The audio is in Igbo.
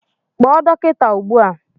Kpọọ dọkịta ugbu a!